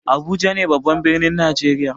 Abuja ne babban birnin najeriya.